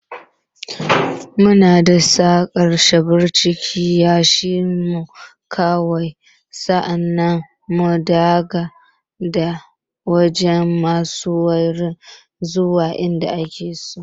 Muna saka shebur cikin yashi, mu kwashe, sa'an nan mu daga da canja masa wuri zuwa in da ake so.